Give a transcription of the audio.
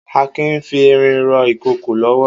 Akin n fi irin rọ ikókó lọwọ